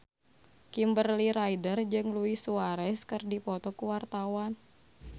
Kimberly Ryder jeung Luis Suarez keur dipoto ku wartawan